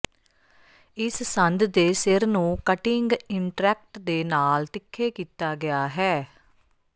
ਇਸ ਸੰਦ ਦੇ ਸਿਰ ਨੂੰ ਕਟਿੰਗ ਇਨਟਰੈਕਟ ਦੇ ਨਾਲ ਤਿੱਖੇ ਕੀਤਾ ਗਿਆ ਹੈ